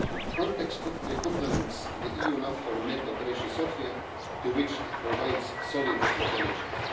Frontex complements the EUNAVFOR MED operation Sophia, to which it provides solid intelligence.